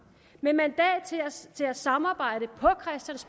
med mandat til at samarbejde